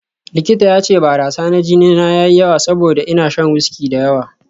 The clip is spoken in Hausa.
Likita ya ce barasa na jini na ya yi yawa saboda ina shan wiski da yawa